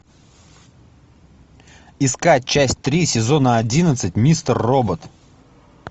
искать часть три сезона одиннадцать мистер робот